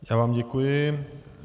Já vám děkuji.